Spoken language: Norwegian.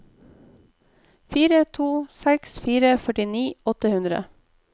fire to seks fire førtini åtte hundre